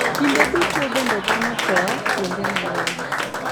Kinde duto bende dhano tho kuonde mang`eny.